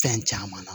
Fɛn caman na